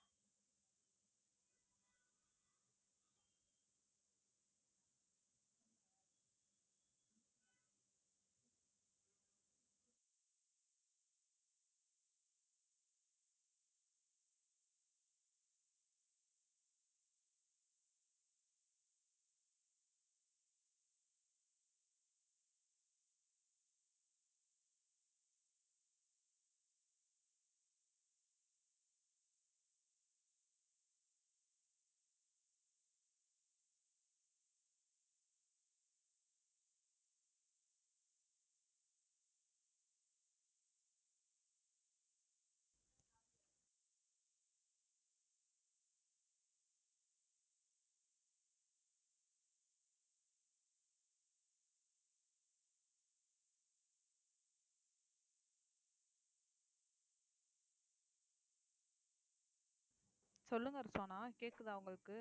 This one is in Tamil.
சொல்லுங்க ரிஸ்வானா கேக்குதா உங்களுக்கு